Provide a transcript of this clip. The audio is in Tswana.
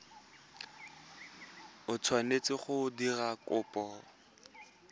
o tshwanetseng go dira kopo